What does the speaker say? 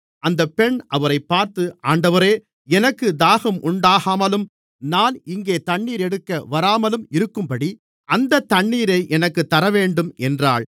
அந்த பெண் அவரைப் பார்த்து ஆண்டவரே எனக்குத் தாகம் உண்டாகாமலும் நான் இங்கே தண்ணீர் எடுக்க வராமலும் இருக்கும்படி அந்தத் தண்ணீரை எனக்குத் தரவேண்டும் என்றாள்